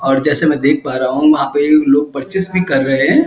और जैसे में देख पा रहा हूँ वहाँ पे लोग परचेस भी कर रहे हैं।